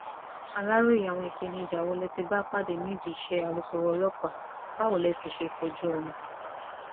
aláròye àwọn ìpèníjà wo lẹ ti bá pàdé nídìí iṣẹ alukoro ọlọpàá báwo lẹ sì ṣe kojú wọn